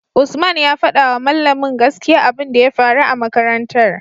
usman ya fadawa mallamin gaskiya abun da ya faru a makarantar